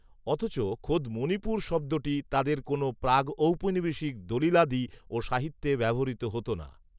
অথচ খোদ 'মণিপুর' শব্দটি তাদের কোনো প্রাগঔপনিবেশিক দলিলাদি ও সাহিত্যে ব্যবহৃত হত না